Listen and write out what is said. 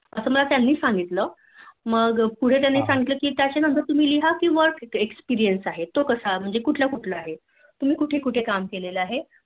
असं मला त्यांनी सांगितलं मग त्या पुढे तुम्ही लिहा कि Work experience कसा तो कुठलं या कुठलं आहे? तुम्ही कुठं कुठं काम केला आहे